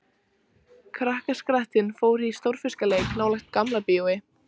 Krakkaskarinn fór í stórfiskaleik nálægt Gamla bíói.